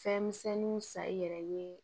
Fɛn misɛnninw san i yɛrɛ ye